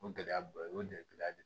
O gɛlɛyaba ye o de ye gɛlɛya de ye